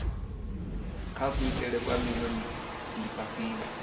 kha kuitele kwa khwine lifhasini